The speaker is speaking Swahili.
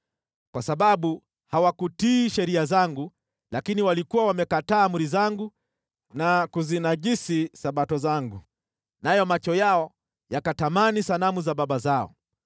kwa sababu hawakutii sheria zangu lakini walikuwa wamekataa amri zangu na kuzinajisi Sabato zangu, nayo macho yao yakatamani sanamu za baba zao.